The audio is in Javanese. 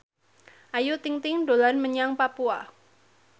Ayu Ting ting dolan menyang Papua